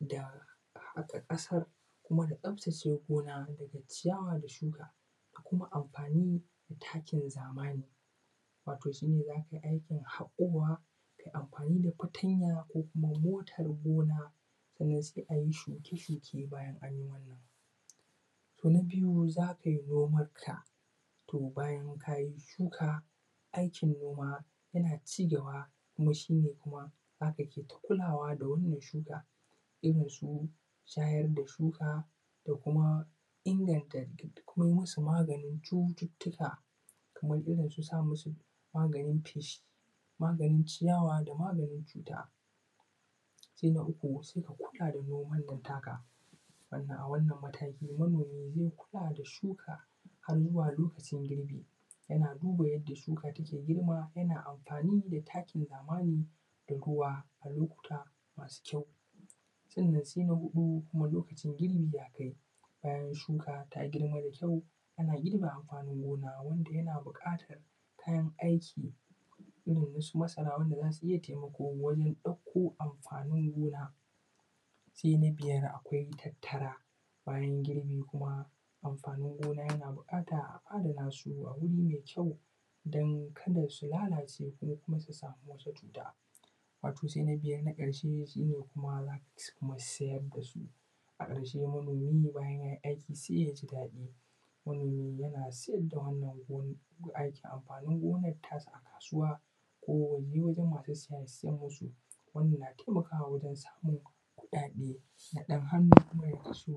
da haƙa ƙasar da kuma tsaftace gona da kuma ciyawa da shuka da kuma amfani da takin zamani, wato shine zakayi aikin haƙowa, kayi amfani da fatanya ko kuma motar gona, sannan sai ayi shuke-shuke bayan anyi wannan. Na biyu zakai noman ka bayan kayi shuka, aikin noma yana cigaba kuma shine zaka ke ta kulawa da wannan shuka, irin su shayar da shuka da kuma inganta kuma yi musu maganin cututtuka kamar irin su sa musu maganin feshi, maganin ciyawa da maganin cuta. Sai na uku, sai ka kula da wannan noman taka, a wannan mataki manomi zai kula da wannan shuka har zuwa lokacin girbi yana duba yadda shuka take girma yana amfani da takin zamani da ruwa, a lokuta masu kyau. Sannan sai na huɗu, kuma lokacin girbi ya kai bayan shuka ta girma da kyau, ana girbe amfanin gona wanda yana buƙatar kayan aiki irin nasu masara wanda zasu iya taimako wajen ɗauko amfanin gona. Sai na biyar awai tattara, bayan girbi kuma amfanin gona yana buƙatar a adana su a wuri mai kyau don kada su lalace, ko kuma su samu wasu cuta. Wato sai na biyar na ƙarshe kuma shine zaka siyar da su, a ƙarshe manomi bayan yayi aiki sai ya ji daɗi, yana siyar da wannan amfanin gonar tasa a kasuwa ko yaje wajen masu siya ya siyar musu wannan yana taimakawa wajen samun kuɗaɗe na ɗan hannu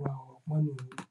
wa manomi.